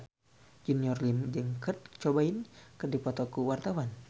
Junior Liem jeung Kurt Cobain keur dipoto ku wartawan